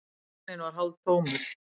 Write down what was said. Vagninn var hálftómur.